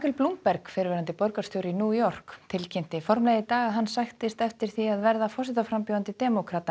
Bloomberg fyrrverandi borgarstjóri í New York tilkynnti formlega í dag að hann sæktist eftir því að verða forsetaframbjóðandi demókrata